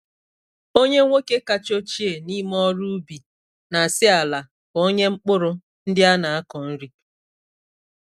Onye nwoke kacha ochie n’ime ndị ọrụ ubi na-asị ala ka ọ nye mkpụrụ ndị a na-akọ nri.